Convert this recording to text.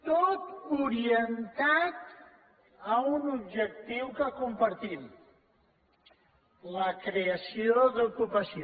tot orientat a un objectiu que compartim la creació d’ocupació